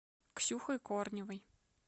ксюхой корневой